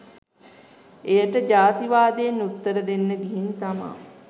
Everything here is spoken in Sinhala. එයට ජාතිවාදයෙන් උත්තර දෙන්න ගිහින් තමා